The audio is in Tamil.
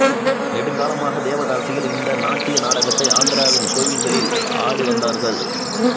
நெடுங்காலமாக தேவதாசிகள் இந்த நாட்டிய நாடகத்தை ஆந்திராவின் கோவில்களில் ஆடிவந்தார்கள்